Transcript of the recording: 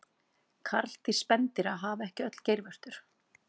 karldýr spendýra hafa ekki öll geirvörtur